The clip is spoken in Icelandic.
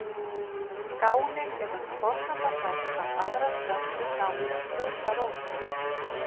Skánin er oft forsenda þess að aðrar plöntur nái að skjóta rótum.